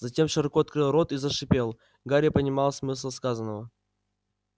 затем широко открыл рот и зашипел гарри понимал смысл сказанного